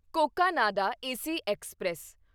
Cocanada AC express